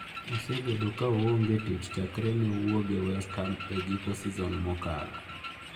Osebedo ka onge tich chakre ne owuok e West Ham e giko seson mokalo.